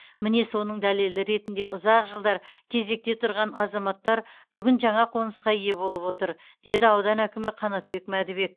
міне соның дәлелі ретінде ұзақ жылдар кезекте тұрған азаматтар бүгін жаңа қонысқа ие болып отыр деді аудан әкімі қанатбек мәдібек